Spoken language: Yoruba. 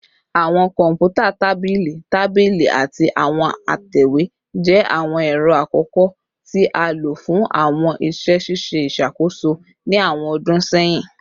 Awọn kọnputa tabili tabili ati awọn atẹwe jẹ awọn ẹrọ akọkọ ti a lo fun awọn iṣẹ ṣiṣe iṣakoso ni awọn ọdun sẹyin